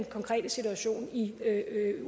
konkrete situation i